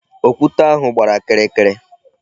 Okwute ahụ gbara kịrịkịrị.